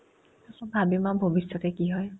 তাৰপিছত ভাবিম আৰ্ ভবিষ্যতে কি হয়